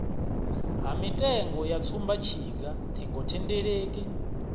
ha mitengo ya tsumbatshiga ṱhingothendeleki